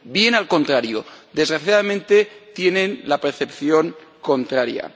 Bien al contrario desgraciadamente, tienen la percepción contraria.